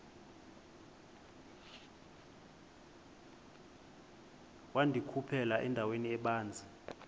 wandikhuphela endaweni ebanzi